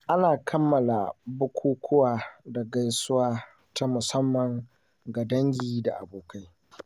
Ana kammala bukukuwa da gaisuwa ta musamman ga dangi da abokai